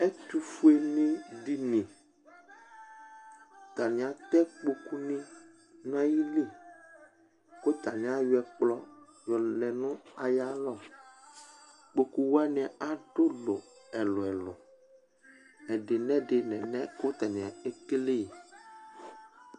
Ɛtʋfue nɩ edini Atanɩ atɛ ikpoku nʋ ayili Kʋ atanɩ ayɔɛkplɔ lɛ nʋ ayʋ alɔ Ikpoku wanɩ adʋ ʋlɔ ɛlʋ ɛlʋ Ɛdɩnɩ lɛ alɛna yɛ kʋ atanɩ ekele yɩ sɛ